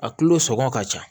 A kulo sɔngɔ ka ca